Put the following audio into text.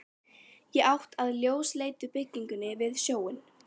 Í átt að ljósleitu byggingunni við sjóinn.